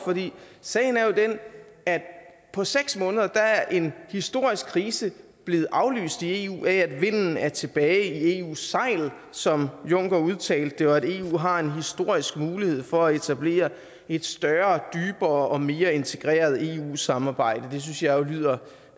sagen er jo den at på seks måneder er en historisk krise blevet aflyst i eu af at vinden er tilbage i eus sejl som juncker udtalte det og at eu har en historisk mulighed for at etablere et større dybere og mere integreret eu samarbejde det synes jeg jo lyder